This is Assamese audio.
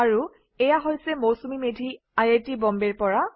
আৰু এয়া আছিল Mousumi Medhi I I T বম্বেৰ পৰা